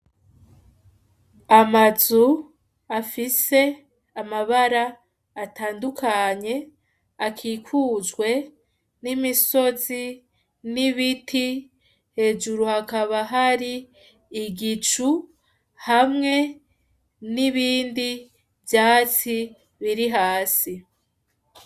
Amazu, afise amabara atandukanye, akikujwe n'imisozi, n'ibiti, hejuru hakaba hari igicu hamwe n'ibindi vyatsi biri hasi.